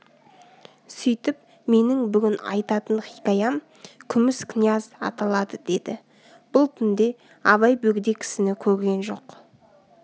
сөйтіп менің бүгін айтатын хикаям күміс князь аталады деді бұл түнде абай бөгде кісіні көрген жоқ